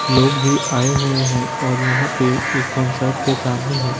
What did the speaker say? लोग भी आए हुए हैं और यहां पे एक कंसर्ट के सामने है।